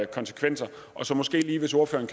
konsekvenser og hvis ordføreren